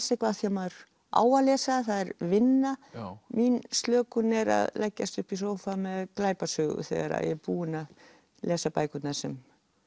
eitthvað af því maður á að lesa það er vinna mín slökun er að leggjast upp í sófa með glæpasögu þegar ég er búin að lesa bækurnar sem